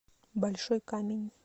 большой камень